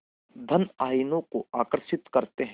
धन आयनों को आकर्षित करते हैं